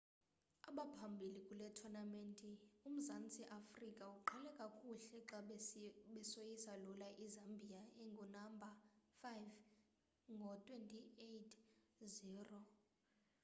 abaphambili kule tonamente umzantsi afrika uqale kakuhle xa besoyisa lula izambiya engunamba 5 ngo-26 - 00